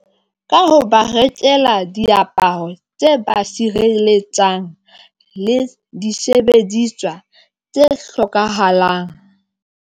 Ka ho ba rekela diaparo tse ba sireletsang le disebediswa tse hlokahalang.